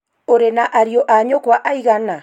Ũrĩ na ariũ a nyũkwa aigana?